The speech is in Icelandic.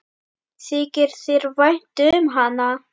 Þykir þér vænt um hann?